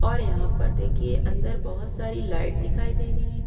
और यहां पर देखिए अंदर बहुत सारी लाइट दिखाई दे रही है।